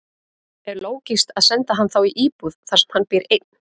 Er lógískt að senda hann þá í íbúð þar sem hann býr einn?